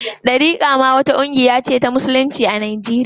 Ɗariƙa ma ƙungiya ce ta musulunci a Najeriya.